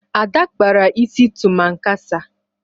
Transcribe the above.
Ada kpara isi tụmankasa.